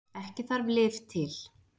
Ekki þarf lyf til.